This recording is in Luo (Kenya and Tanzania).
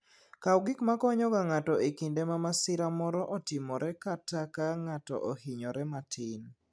Kaw gik makonyogo ng'ato e kinde ma masira moro otimore kata ka ng'ato ohinyore matin.